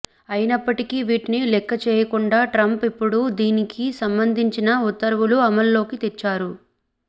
అయినప్పటికీ వీటిని లెక్కచేయకుండా ట్రంప్ ఇప్పుడు దీనికి సంబంధించిన ఉత్తర్వులను అమలులోకి తెచ్చారు